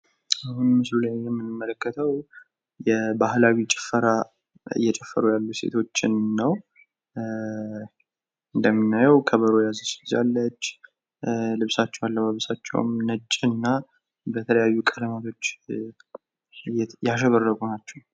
በምስሉ ላይ የምንመለከተው የባህላዊ ጭፈራ እየጨፈሩ ያሉ ሴቶችን ነው። እንደምናየው ከበሮ የያዘች ልጅ አለች። ልብሳቸው አለባበሳቸውም ነጭና በተለያዩ ቀለማቶች ያሸበረቁ ናቸው።